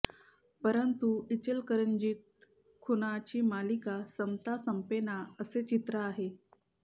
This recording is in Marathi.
परंतू इचलकरंजीत खुनाची मालिका संपता संपेना असे चित्र आहे